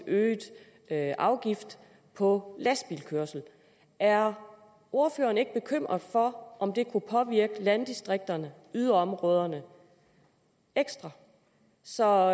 øget afgift på lastbilkørsel er ordføreren ikke bekymret for om det kunne påvirke landdistrikterne yderområderne ekstra så